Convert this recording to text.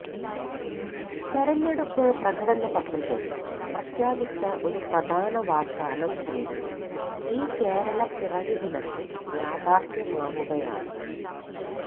തെരഞ്ഞെടുപ്പ് പ്രകടന പത്രികയില് പ്രഖ്യാപിച്ച ഒരു പ്രധാന വാഗ്ദാനം കൂടി ഈ കേരളപ്പിറവി ദിനത്തില് യാഥാര്ഥ്യമാവുകയാണ്